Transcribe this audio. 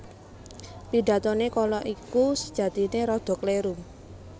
Pidatoné kala iku sajatiné rada kléru